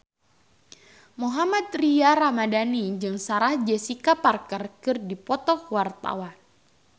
Mohammad Tria Ramadhani jeung Sarah Jessica Parker keur dipoto ku wartawan